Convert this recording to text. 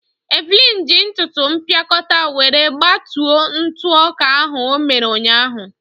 Evelyn ji ntụtụ mpịakọta were gbatuo ntụ ọka ahụ o mere ụnyaahụ.